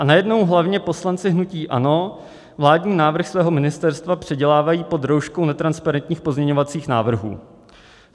A najednou hlavně poslanci hnutí ANO vládní návrh svého ministerstva předělávají pod rouškou netransparentních pozměňovacích návrhů.